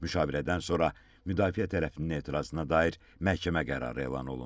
Müşavirədən sonra müdafiə tərəfinin etirazına dair məhkəmə qərarı elan olundu.